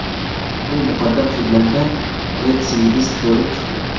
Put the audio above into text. U muqaddam sudlangan retsidivist bo‘lib chiqdi.